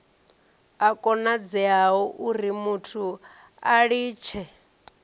a konadzea urimuthu a litshe